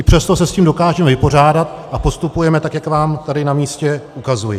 I přesto se s tím dokážeme vypořádat a postupujeme tak, jak vám tady na místě ukazuji.